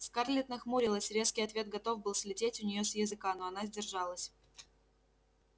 скарлетт нахмурилась резкий ответ готов был слететь у неё с языка но она сдержалась